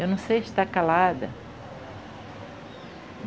Eu não sei se está calada.